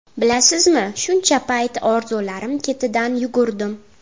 Bilasizmi, shuncha payt orzularim ketidan yugurdim.